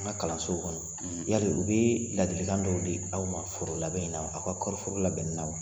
An ka kalansow kɔnɔ yaari u bɛ ladilikan dɔw di aw ma forolabɛn na aw ka kɔɔriforo labɛnni na wa?